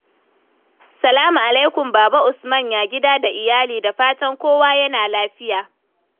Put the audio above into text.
Salamu alaikum Baba Usman, ya gida da iyali? Da fatan kowa yana nan lafiya.